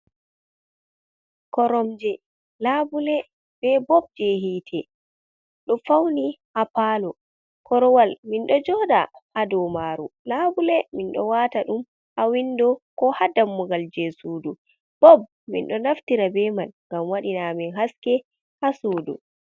Koromje, laɓule, ɓe bob je hite, ɗo fauni ha palo. Korowal min ɗo jooɗa ha ɗow maru. Laɓule min ɗo wata ɗum ha winɗo ko ha ɗammugal je suɗu. Bob min ɗo naftira ɓe man ngam waɗina amin haske ha suɗu.